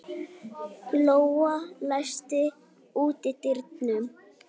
Glóa, læstu útidyrunum.